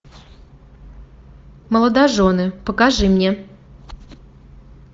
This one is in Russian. молодожены покажи мне